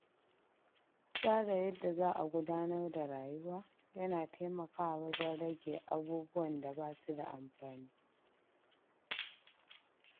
Tsara yadda za'a gudanar da rayuwa yana taimakawa wajen rage abubuwan da ba su da amfani.